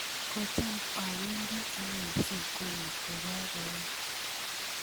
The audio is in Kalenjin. kocham awendi anee sokoni kokaech